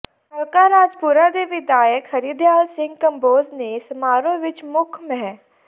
ਹਲਕਾ ਰਾਜਪੁਰਾ ਦੇ ਵਿਧਾਇਕ ਹਰਦਿਆਲ ਸਿੰਘ ਕੰਬੋਜ ਨੇ ਸਮਾਰੋਹ ਵਿੱਚ ਮੁੱਖ ਮਹਿ